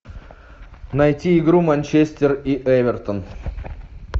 найти игру манчестер и эвертон